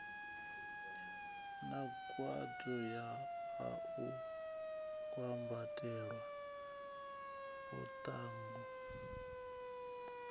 nangwaho u a kwambatela muḽagalu